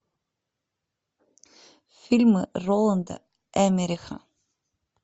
фильмы роланда эммериха